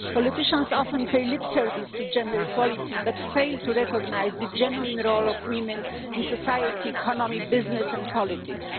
Politicians often pay lip service to gender equality, but fail to recognise the genuine role of women in society, the economy, business and politics.